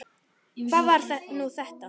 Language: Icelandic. Hvað var nú þetta?